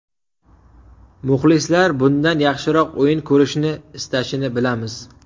Muxlislar bundan yaxshiroq o‘yin ko‘rishni istashini bilamiz.